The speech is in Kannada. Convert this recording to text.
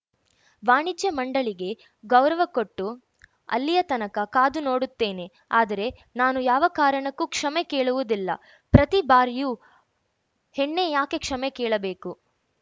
ವಾಣಿಜ್ಯ ಮಂಡಳಿಗೆ ಗೌರವ ಕೊಟ್ಟು ಅಲ್ಲಿಯತನಕ ಕಾದು ನೋಡುತ್ತೇನೆ ಆದರೆ ನಾನು ಯಾವ ಕಾರಣಕ್ಕೂ ಕ್ಷಮೆ ಕೇಳುವುದಿಲ್ಲ ಪ್ರತಿ ಬಾರಿಯೂ ಹೆಣ್ಣೇ ಯಾಕೆ ಕ್ಷಮೆ ಕೇಳಬೇಕು